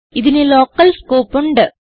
ഇതിന് local scope ഉണ്ട്